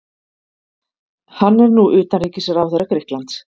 Hann er nú utanríkisráðherra Grikklands.